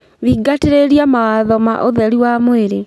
Thingatĩrĩrĩa mawatho ma ũtherũ wa mwĩrĩ